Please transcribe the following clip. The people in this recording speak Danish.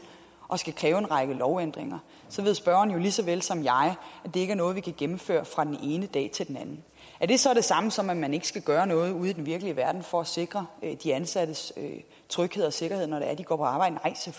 at kræve en række lovændringer ved spørgeren lige så vel som jeg at det ikke er noget vi kan gennemføre fra den ene dag til den anden er det så det samme som at man ikke skal gøre noget ude i den virkelige verden for at sikre de ansattes tryghed og sikkerhed når de går på arbejde